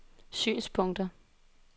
synspunkter